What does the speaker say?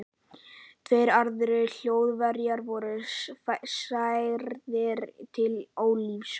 Tveir aðrir Þjóðverjar voru særðir til ólífis.